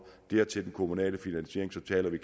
dertil den kommunale finansiering så taler vi